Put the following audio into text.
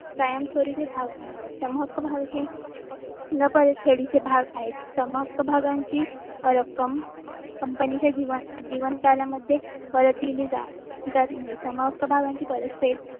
कायम स्वरूपी भाग भांडवल सम हक्क भाग हे न परत फेडीचे भाग आहेत. समहक्क भागांची रक्कम कंपनीच्या जीवन कार्यालयामध्ये परत दिली जात नाही. सम हक्क भागांची परत फेड